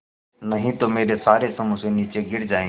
नहीं तो मेरे सारे समोसे नीचे गिर जायेंगे